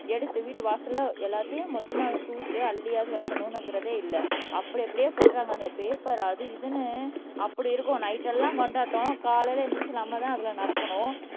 எடுத்து வீட்டு வாசல்ல எல்லாத்தையும் மொத்தமா தூத்து அள்ளியாவது வைக்கணுங்கிறதே இல்ல அப்படி அப்படியே போட்டுறாங்க அந்த பேப்பர் அது இதுன்னு அப்படி இருக்கும் நைட் எல்லாம் கொண்டாட்டம் காலையில எந்திரிச்சு நம்மதான் அதுல நடக்கணும்